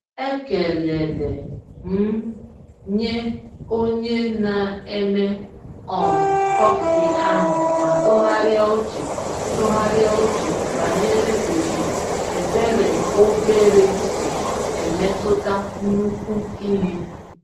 Ekelele m nye onye na-eme um kọfị ahụ ma tụgharịa uche tụgharịa uche banyere otu ebere obere si emetụta nnukwu ihe.